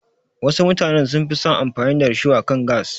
Wasu mutanen sun fi son amfani da risho akan gas.